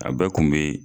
A bɛɛ kun be